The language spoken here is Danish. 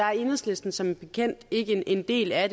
er enhedslisten som bekendt ikke en del af